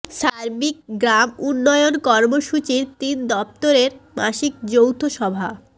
সার্বিক গ্রাম উন্নয়ন কর্মসূচির তিন দপ্তরের মাসিক যৌথ সভা